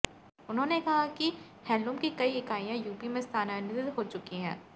उन्होंने कहा कि हैंडलूम की कई इकाइयां यूपी में स्थानांरित हो चुकी हैं